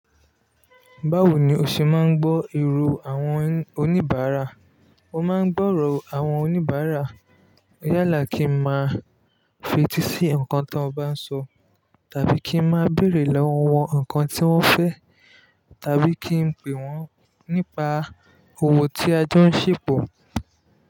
Báwo ni o ṣe máa ń gbọ́ èrò àwọn oníbàárà? Mo máa ń gbọ́rọ̀ àwọn oníbàárà yálà kí n máa fetí sí nnkan tí wọ́n bá ń sọ tàbí kí n máa bèrè lọ́wọ́ wọn nnkan tí wọ́n fẹ́ tàbí kí n pè wọ́n nípa òwò tí ajé ń ṣèpọ̀.